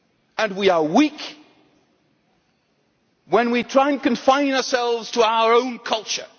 And we are weak when we try and confine ourselves to our own culture